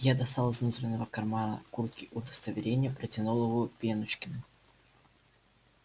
я достал из внутреннего кармана куртки удостоверение протянул его пеночкину